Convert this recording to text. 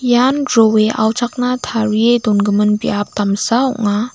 ian jroe auchakna tarie dongimin biap damsa ong·a.